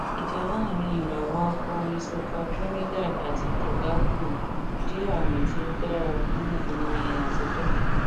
ìjà láàárín ìrawọ akọrin sọca trinidad àti tobago jẹ àmì tí ó dára fún orin àtijọ